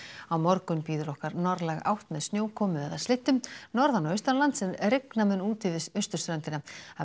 á morgun bíður okkar norðlæg átt með snjókomu eða slyddu norðan og austanlands en rigna mun úti við austurströndina